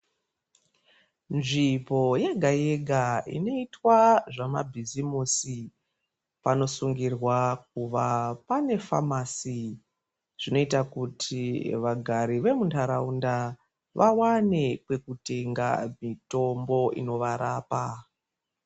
Nzvimbo yega-yega inoitwa zvemabhizimusi, panosungirwa kuva pane famasi. Zvinoita kuti vagari vemuntharaunda, vawane kwekutenga mitombo inovarapa.